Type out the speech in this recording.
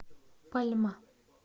пальма